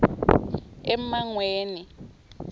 emangweni